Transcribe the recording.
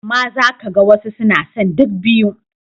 Amma za ka ga wasu suna son duk biyu.